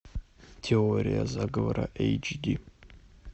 теория заговора эйч ди